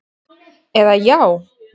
eða Já!